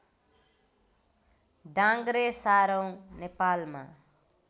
डाङ्ग्रे सारौँ नेपालमा